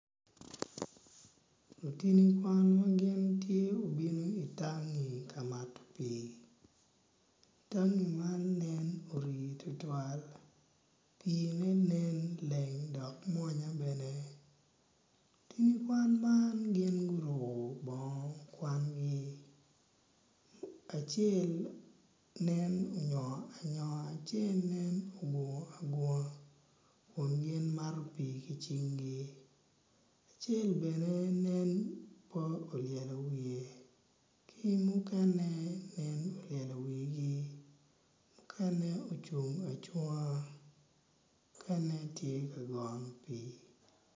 Lutini kwan ma gin tye obino itangi ka mato pii tangi man nen ori tutwal piine nen leng dok mwonya bene lutin kwan man gin oruko bongo kwangi acel nen onyongo anyonga acel nen ogungu agunga kun gin mato pii ki cinggi acel bene nen pe olyelo wiye ki mukene nen olyelo wigi mukene ocung acunga muken tye ka goyo pii.